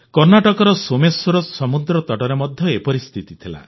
କର୍ଣ୍ଣାଟକର ସୋମେଶ୍ୱର ସମୁଦ୍ରତଟରେ ମଧ୍ୟ ଏପରି ସ୍ଥିତି ଥିଲା